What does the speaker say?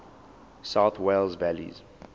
south wales valleys